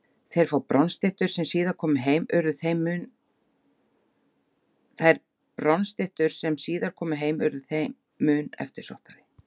Þær fáu bronsstyttur sem síðar komu heim urðu þeim mun eftirsóttari.